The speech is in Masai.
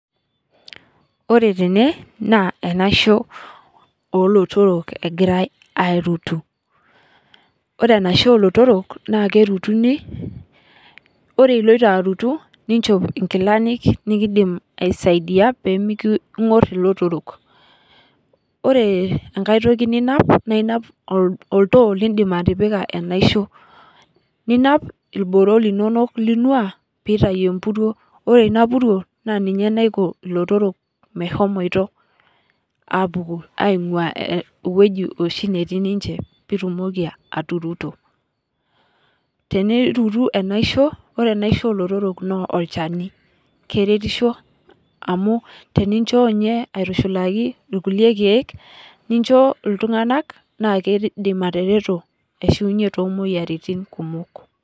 Ore tene naa enaisho oolotorok egirae aarutu, ore enaisho oolotorok naa kerutuni ore oloito arutu nichop inkilani nikindim aisaidia pee mikingor ilotorok ,ore enkae toki ninap naa inap olto lindim atipika enaisho, ninap irboro lononok linua pee eitayu empuruo ,ore ina puruo naa ninye naiko lotorok meshomoito apuku aingua eweji oshi netii ninche pee itumoki aturuto ,tenirutu enaisho ,ore enaisho oolotorok naa olchani ,keretisho amu tenincho ninye aitushulaki irkulie keek nincho iltunganak naa keidim atareto aishiunye too moyiaritin kumok .